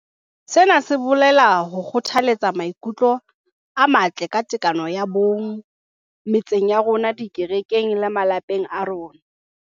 Sena se bolela ho kgothaletsa maikutlo a matle ka tekano ya bong metseng ya rona, dikerekeng le malapeng a rona.